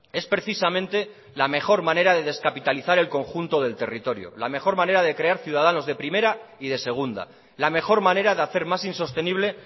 es precisamente la mejor manera de descapitalizar el conjunto del territorio la mejor manera de crear ciudadanos de primera y de segunda la mejor manera de hacer más insostenible